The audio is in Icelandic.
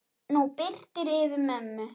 Nú birtir yfir mömmu.